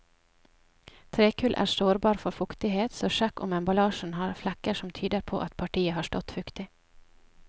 Trekull er sårbar for fuktighet, så sjekk om emballasjen har flekker som tyder på at partiet har stått fuktig.